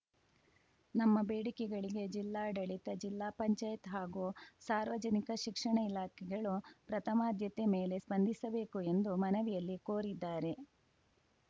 ನಮ್ಮ ಬೇಡಿಕೆಗಳಿಗೆ ಜಿಲ್ಲಾಡಳಿತ ಜಿಲ್ಲಾ ಪಂಚಾಯತ್ ಹಾಗೂ ಸಾರ್ವಜನಿಕ ಶಿಕ್ಷಣ ಇಲಾಖೆಗಳು ಪ್ರಥಮಾದ್ಯತೆ ಮೇಲೆ ಸ್ಪಂದಿಸಬೇಕು ಎಂದು ಮನವಿಯಲ್ಲಿ ಕೋರಿದ್ದಾರೆ